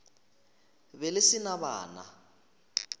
be le se na bana